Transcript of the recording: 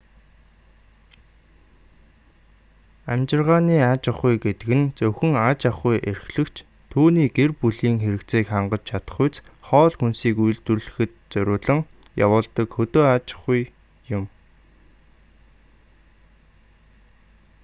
амьжиргааны аж ахуй гэдэг нь зөвхөн аж ахуй эрхлэгч түүний гэр бүлийн хэрэгцээг хангаж чадахуйц хоол хүнсийг үйлдвэрлэхэд зориулан явуулдаг хөдөө аж ахуй юм